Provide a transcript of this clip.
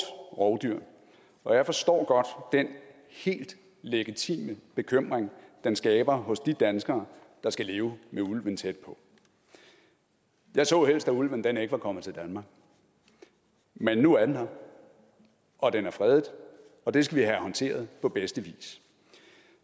rovdyr og jeg forstår godt den helt legitime bekymring den skaber hos de danskere der skal leve med ulven tæt på jeg så helst at ulven ikke var kommet til danmark men nu er den her og den er fredet og det skal vi have håndteret på bedste vis